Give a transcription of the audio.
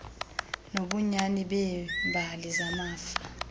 nobunyani beembali zamafa